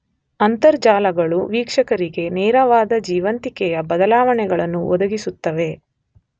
ಅಂತರ್ಜಾಲಗಳು ವೀಕ್ಷಕರಿಗೆ ನೇರವಾದ ಜೀವಂತಿಕೆಯ ಬದಲಾವಣೆಗಳನ್ನು ಒದಗಿಸುತ್ತವೆ.